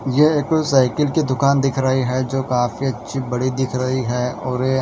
ये कोई साइकिल की दुकान दिख रही है जो काफी अच्छी बड़ी दिख रही है और ये--